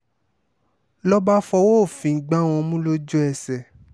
ló bá fọwọ́ òfin gbá wọn mú lójú-ẹsẹ̀